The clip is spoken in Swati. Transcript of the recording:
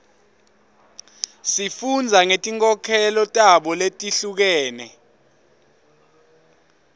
sifunda ngetinkolelo tabo letihlukene